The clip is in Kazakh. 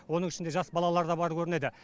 оның ішінде жас балалар да бар көрінеді